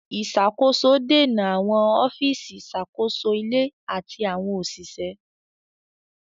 Ìṣàkóso dènà àwọn ọ́fíìsì ìṣàkóso ilé àti àwọn òṣìṣẹ́.